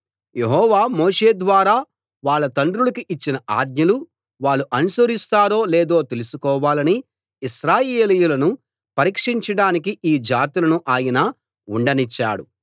యెహోవా మోషే ద్వారా వాళ్ళ తండ్రులకు ఇచ్చిన ఆజ్ఞలు వాళ్ళు అనుసరిస్తారో లేదో తెలుసుకోవాలని ఇశ్రాయేలీయులను పరీక్షించడానికి ఈ జాతులను ఆయన ఉండనిచ్చాడు